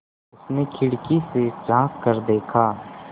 उसने खिड़की से झाँक कर देखा